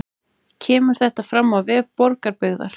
Kemur þetta fram á vef Borgarbyggðar